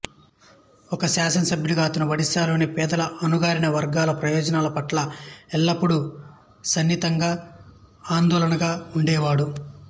ఒక శాసనసభ్యుడుగా అతను ఒడిశాలోని పేదల అణగారిన వర్గాల ప్రయోజనాల పట్ల ఎల్లప్పుడూ సున్నితంగా ఆందోళనగా ఉండేవాడు